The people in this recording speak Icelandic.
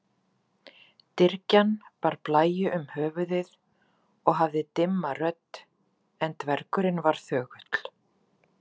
Engu að síður er greinilegt að jarðhitinn hefur verið vannýtt auðlind.